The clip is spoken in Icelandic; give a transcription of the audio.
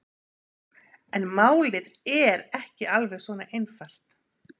En málið er ekki alveg svona einfalt.